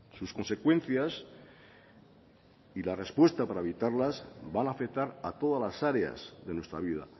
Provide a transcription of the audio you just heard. sus consecuencias y la respuesta para evitarlas van a afectar a todas las áreas de nuestra vida